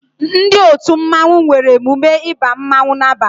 Ndị otu mmanwu nwere emume ịba mmanwu n'abalia